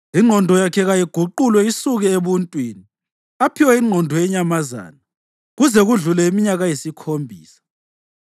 Ingqondo yakhe kayiguqulwe isuke ebuntwini, aphiwe ingqondo yenyamazana, kuze kudlule iminyaka eyisikhombisa.